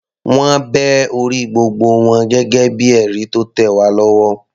Wọ́n bẹ orí gbogbo wọn gẹ́gẹ́ bíi ẹ̀rí tó tẹ̀ wá lọ́wọ́.